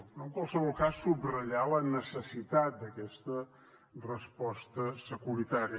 però en qualsevol cas subratllar la necessitat d’aquesta resposta securitària